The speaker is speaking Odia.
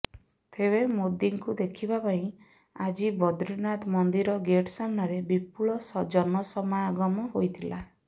ତେବେ ମୋଦିଙ୍କୁ ଦେଖିବା ପାଇଁ ଆଜି ବଦ୍ରିନାଥ ମନ୍ଦିରର ଗେଟ୍ ସାମ୍ନାରେ ବିପୁଳ ଜନସମାଗମ ହୋଇଥିଲା